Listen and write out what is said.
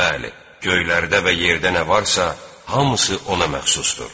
Bəli, göylərdə və yerdə nə varsa, hamısı ona məxsusdur.